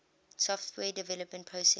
software development process